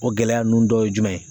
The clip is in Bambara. O gɛlɛya ninnu dɔ ye jumɛn ye?